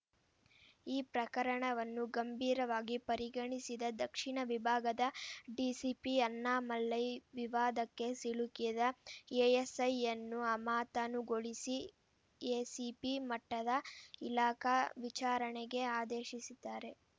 ಈ ಪ್ರಕರಣವನ್ನು ಗಂಭೀರವಾಗಿ ಪರಿಗಣಿಸಿದ ದಕ್ಷಿಣ ವಿಭಾಗದ ಡಿಸಿಪಿ ಅಣ್ಣಾಮಲೈ ವಿವಾದಕ್ಕೆ ಸಿಲುಕಿದ ಎಎಸ್‌ಐಯನ್ನು ಅಮಾತನುಗೊಳಿಸಿ ಎಸಿಪಿ ಮಟ್ಟದ ಇಲಾಖಾ ವಿಚಾರಣೆಗೆ ಆದೇಶಿಸಿದ್ದಾರೆ